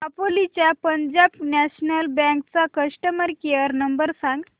दापोली च्या Punjab National Bank चा customer care number सांग